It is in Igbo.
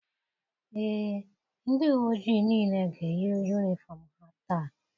Ee, ndị uwe ojii niile ga-eyi yunifọm ha taa.